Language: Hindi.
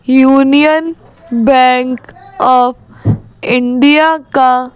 यूनियन बैंक ऑफ इंडिया का--